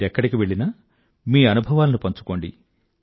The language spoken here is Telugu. మీరెక్కడికి వెళ్ళినా మీ అనుభవాలను పంచుకోండి